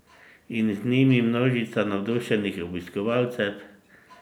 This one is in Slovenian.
In z njimi množica navdušenih obiskovalcev!